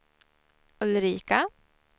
Ulrika